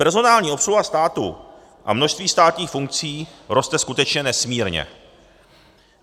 Personální obsluha státu a množství státních funkcí roste skutečně nesmírně.